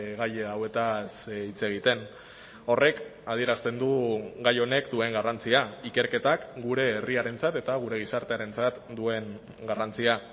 gai hauetaz hitz egiten horrek adierazten du gai honek duen garrantzia ikerketak gure herriarentzat eta gure gizartearentzat duen garrantzia